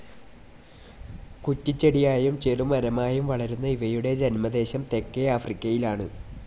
കുറ്റിച്ചെടിയായും ചെറുമരമായും വളരുന്ന ഇവയുടെ ജന്മദേശം തെക്കേആഫ്രിക്കയിലാണ്.